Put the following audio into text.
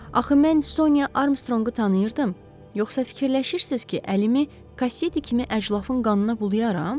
Axı mən Sonya Armstronqu tanıyırdım, yoxsa fikirləşirsiz ki, əlimi kassetə kimi əclafın qanına bulayaram?